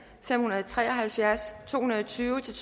fem hundrede og tre og halvfjerds to hundrede og tyve til